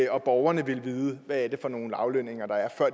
og borgerne ville vide hvad det er for nogle aflønninger der er før